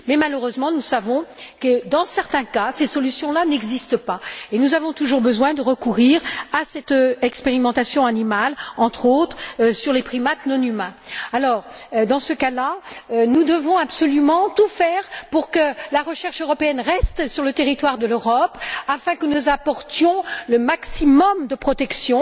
Mais malheureusement, nous savons que, dans certains cas, ces solutions là n'existent pas et nous avons toujours besoin de recourir à cette expérimentation animale, notamment sur les primates non humains. Dans ce cas là, nous devons absolument tout faire pour que la recherche européenne reste sur le territoire de l'Europe afin que nous apportions le maximum de protection.